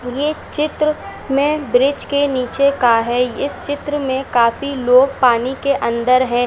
यह चित्र में ब्रिज के नीचे का है इस चित्र में काफी लोग पानी के अंदर है।